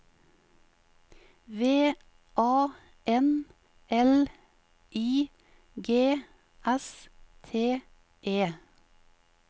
V A N L I G S T E